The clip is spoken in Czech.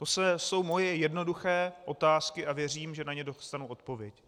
To jsou moje jednoduché otázky a věřím, že na ně dostanu odpověď.